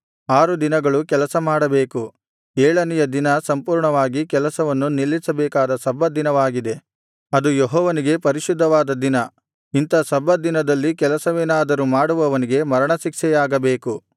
ಆರು ದಿನಗಳು ಕೆಲಸ ಮಾಡಬೇಕು ಏಳನೆಯ ದಿನ ಸಂಪೂರ್ಣವಾಗಿ ಕೆಲಸವನ್ನು ನಿಲ್ಲಿಸಬೇಕಾದ ಸಬ್ಬತ್ ದಿನವಾಗಿದೆ ಅದು ಯೆಹೋವನಿಗೆ ಪರಿಶುದ್ಧವಾದ ದಿನ ಇಂಥ ಸಬ್ಬತ್ ದಿನದಲ್ಲಿ ಕೆಲಸವೇನಾದರೂ ಮಾಡುವವನಿಗೆ ಮರಣಶಿಕ್ಷೆಯಾಗಬೇಕು